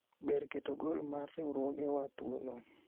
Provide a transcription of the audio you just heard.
ber keto gol mar riwruoge wa thuolo